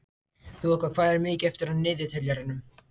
Þoka, hvað er mikið eftir af niðurteljaranum?